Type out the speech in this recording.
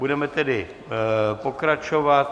Budeme tedy pokračovat.